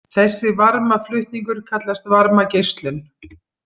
Þessi varmaflutningur kallast varmageislun.